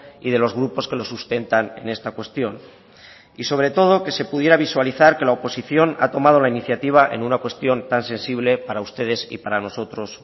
y de los grupos que lo sustentan en esta cuestión y sobre todo que se pudiera visualizar que la oposición ha tomado la iniciativa en una cuestión tan sensible para ustedes y para nosotros